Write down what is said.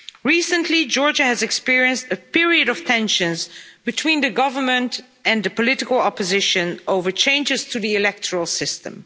Recently, Georgia has experienced a period of tensions between the government and the political opposition over changes to the electoral system.